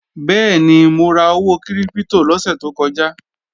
Bẹ́ẹ̀ni, mo ra owó kírípítò lọ́sè tó kọjá